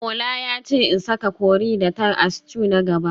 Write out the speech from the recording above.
Ola yace in saka curry da thyme a stew na gaba